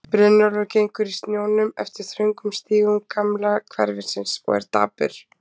Brynjólfur gengur í snjónum eftir þröngum stígum gamla hverfisins og er dapur.